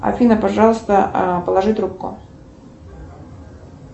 афина пожалуйста положи трубку